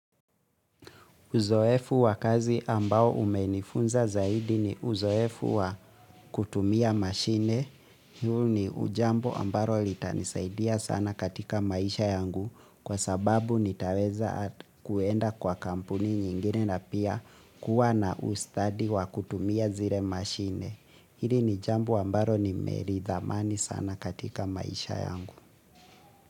Uzoefu wa kazi ambao umenifunza zaidi ni uzoefu wa kutumia mashine. Huu ni ujambo ambalo litanisaidia sana katika maisha yangu kwa sababu nitaweza kuenda kwa kampuni nyingine na pia kuwa na ustadi wa kutumia zile mashine. Hili ni jambo ambalo nimeli thamani sana katika maisha yangu.